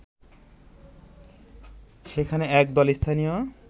সেখানে একদল স্থানীয়